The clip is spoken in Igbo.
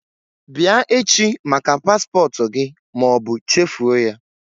Bịa echi maka paspọtụ gị ma ọ bụ chefuo ya